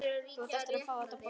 Þú átt eftir að fá þetta borgað!